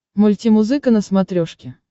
мультимузыка на смотрешке